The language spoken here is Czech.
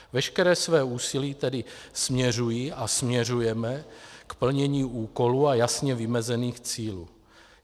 Veškeré své úsilí tedy směřují a směřujeme k plnění úkolů a jasně vymezených cílů.